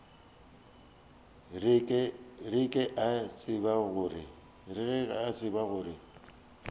re ke a tseba gore